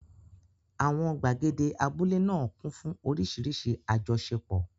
Àwọn gbàgede abúlé náà kún fún oríṣiríṣi àjọṣepọ̀.